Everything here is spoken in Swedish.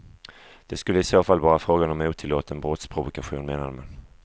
Det skulle i så fall vara fråga om otillåten brottsprovokation, menar man.